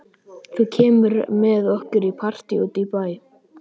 Þú kemur með okkur í partí út í bæ.